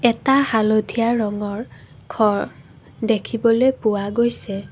এটা হালধীয়া ৰঙৰ ঘৰ দেখিবলৈ পোৱা গৈছে।